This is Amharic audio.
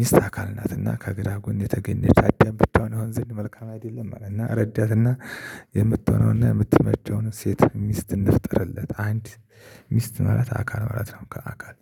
ሚስት አካል ናትና ከግራ ጎን የተገኘች አዳም ብትሆን ይሆን ዘንድ መልካም አይደለም። እና ረዳትና የምትሆነውና የምትመቸውን ሴት ምስት እንፍጠርለት። አንድ ምስት ማለት አካል ማለት ነው። ከአካል